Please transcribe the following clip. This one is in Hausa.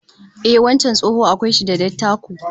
Ehh, wancan tsoho akwai shi da dattako